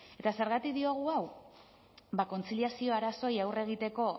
eta zergatik diogu hau ba kontziliazio arazoei aurre egiteko